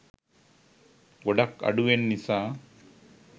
ගොඩක් අඩුවෙන් නිසා.